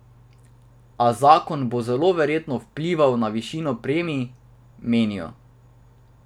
A zakon bo zelo verjetno vplival na višino premij, menijo.